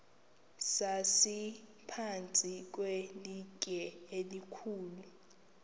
sasiphantsi kwelitye elikhulu